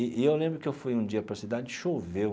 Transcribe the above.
E e eu lembro que eu fui um dia para a cidade e choveu.